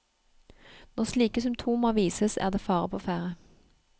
Når slike symptomer vises, er det fare på ferde.